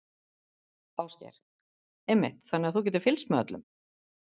Ásgeir: Einmitt, þannig að þú getur fylgst með öllum?